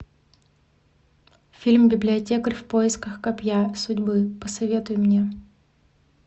фильм библиотекарь в поисках копья судьбы посоветуй мне